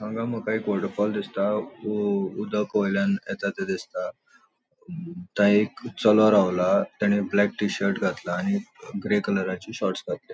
हांगा मका एक वोटरफोल दिसता उ उदक वयल्यान एता थे दिसता थय एक चलों रावला ताणे ब्लैक टी शर्ट घातला आणि ग्रे कलराची शॉर्ट्स घातल्या.